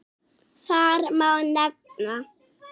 Þar má nefna